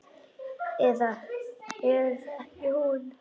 Eða er það ekki hún?